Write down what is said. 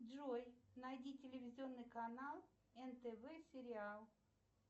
джой найди телевизионный канал нтв сериал